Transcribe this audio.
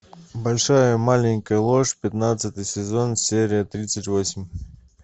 большая маленькая ложь пятнадцатый сезон серия тридцать восемь